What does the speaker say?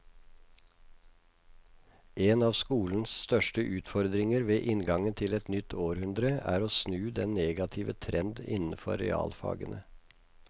En av skolens største utfordringer ved inngangen til et nytt århundre er å snu den negative trend innenfor realfagene.